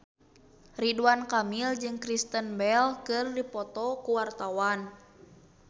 Ridwan Kamil jeung Kristen Bell keur dipoto ku wartawan